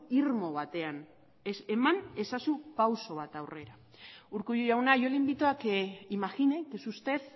irmo batean ez eman ezazu pausu bat aurrera urkullu jauna yo le invito a que imagine que es usted